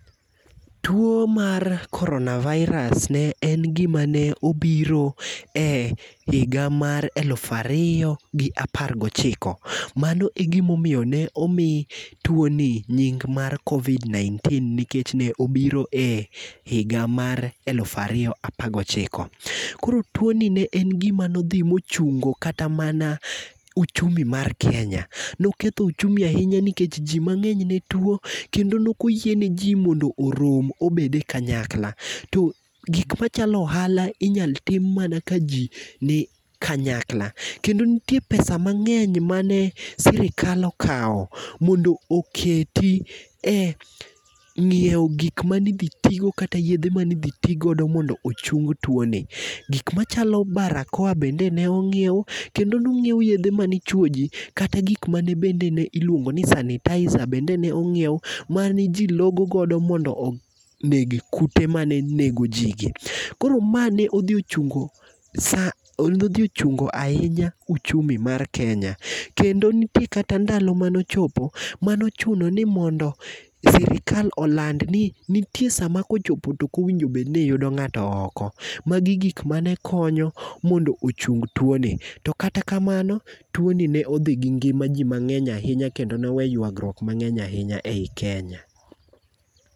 Tuo mar corona virus ne en gima ne obiro e higa mar elufu ariyo gi apar gochiko. Mano e gima omiyo ne omi tuo ni nying mar covid nineteen, nikech ne obiro e higa mar elufu ariyo apar gochiko. Koro tuoni ne en gima ne odhi mochungo kata mana ochumi mar Kenya. Ne oketho ochumi ahinya nikech ji mang'eny ne tuo kendo ne ok oyie neji mondo orom obed e kanyakla to gik machalo ohala inyal tim mana kaji ni kanyakla. Kendo ne nitie pesa mang'eny mane sirkal okawo mondo oketi e ng'iewo gik mane idhi tigo kata yedhe mane idhi ti godo mondo ochung tuoni, gik machalo barakoa bende ne onyiew kendo ne onyiew yedhe mane ichuoyo ji kata gik moko bende mane iluongo ni sanitizer bende ne ong'iew mane ji logo godo mondo onegi kute mane negoji koro mane odhi ochungo odhinochungo ahinya ochumi mar Kenya. Kendo nitie kata ndalo mane ochopo mane ochuno ni sirkal oland ninitie sama kochopo tom ok onego bed ni yudo ng'ato oko. Magi gik mane konyo mondo ochung tuoni, to kata kamano, tuoni ne odhi gi ngima ji mang'eny ahinya kendo ne waweyo yuagruok mang'eny ahinya ei Kenya.